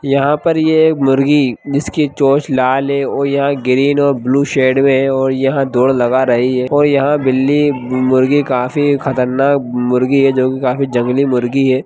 यहाँ पे ये मुर्गी जिसकी चोंच लाल है और यह ग्रीन और ब्लु सैड में है और यहाँ दौड़ लगा रही है और यहाँ बिल्ली मुर्गी काफी खतरनाक मुर्गी है जो की काफी जंगली मुर्गी है।